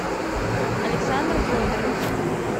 александр федорович